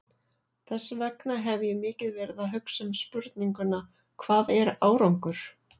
Þess vegna hef ég mikið verið að hugsa um spurninguna, hvað er árangur?